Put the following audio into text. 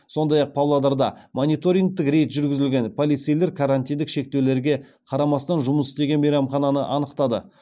сондай ақ павлодарда мониторингтік рейд жүргізілген полицейлер карантиндік шектеулерге қарамастан жұмыс істеген мейрамхананы анықтады